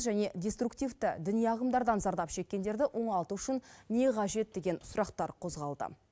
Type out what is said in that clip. және деструктивті діни ағымдардан зардап шеккендерді оңалту үшін не қажет деген сұрақтар қозғалды